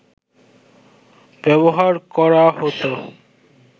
ব্যবহার করা হতো